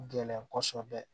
Gɛlɛn kosɛbɛ